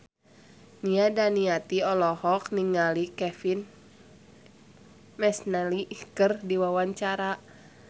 Nia Daniati olohok ningali Kevin McNally keur diwawancara